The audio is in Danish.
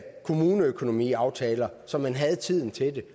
kommuneøkonomiaftaler så man havde tiden til